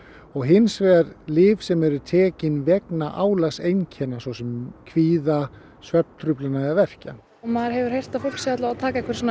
og hins vegar lyf sem eru tekin vegna svo sem kvíða svefntruflana eða verkja maður hefur heyrt að fólk er að taka einhver svona